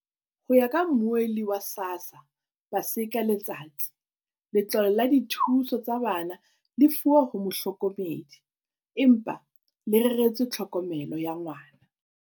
Ho ya ka Mmuelli wa SASSA, Paseka Letsatsi, letlole la dithuso tsa bana le lefuwa ho mohlokomedi, empa le reretswe tlhokomelo ya ngwana.